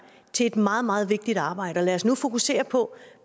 til et meget meget vigtigt arbejde lad os nu fokusere på